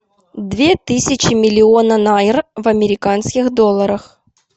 две тысячи миллиона найр в американских долларах